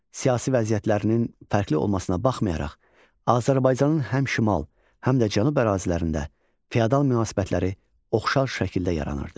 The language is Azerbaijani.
Siyasi vəziyyətlərinin fərqli olmasına baxmayaraq, Azərbaycanın həm şimal, həm də cənu ərazilərində fiodal münasibətləri oxşar şəkildə yaranırdı.